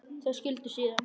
Þau skildu síðan.